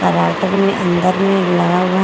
अंदर मे लगा हुआ ह--